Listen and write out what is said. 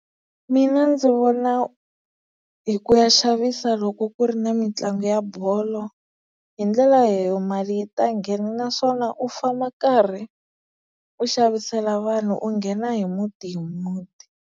Mina ndzi vona hi ku ya xavisa loko ku ri na mitlangu ya bolo hi ndlela leyo mali yi ta nghena, naswona u famba karhi u xavisela vanhu u nghena hi muti hi muti.